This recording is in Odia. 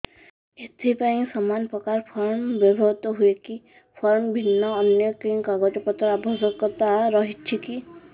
ଏଥିପାଇଁ ସମାନପ୍ରକାର ଫର୍ମ ବ୍ୟବହୃତ ହୂଏକି ଫର୍ମ ଭିନ୍ନ ଅନ୍ୟ କେଉଁ କାଗଜପତ୍ରର ଆବଶ୍ୟକତା ରହିଛିକି